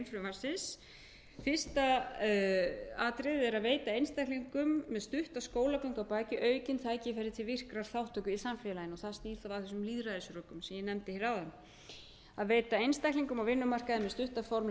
frumvarpsins a að veita einstaklingum með stutta skólagöngu að baki aukin tækifæri til virkrar þátttöku í samfélaginu og það snýr þá að þessum lýðræðisrökin sem ég nefndi hér áðan b að veita einstaklingum á vinnumarkaði með stutta formlega